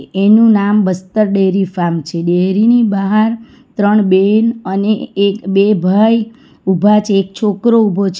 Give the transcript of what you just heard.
એનું નામ Bastar dairy farm છે ડેરી ની બહાર ત્રણ બેન અને એક બે ભાઈ ઉભા છે એક છોકરો ઉભો છે.